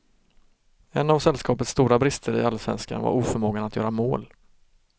En av sällskapets stora brister i allsvenskan var oförmågan att göra mål.